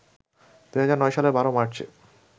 ২০০৯ সালের ১২ মার্চ়ে